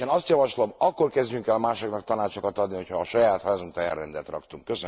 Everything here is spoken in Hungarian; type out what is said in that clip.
Én azt javaslom, hogy akkor kezdjünk el másoknak tanácsokat adni, ha a saját házunk táján rendet raktunk.